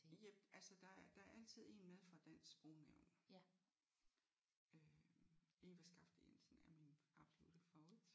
Jep altså der er der er altid en med fra Dansk Sprognævn øh Eva Skafte Jensen er min absolutte favorit